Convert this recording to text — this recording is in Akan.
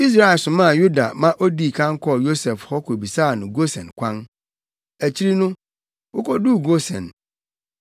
Israel somaa Yuda ma odii kan kɔɔ Yosef hɔ kobisaa no Gosen kwan. Akyiri no, wokoduu Gosen.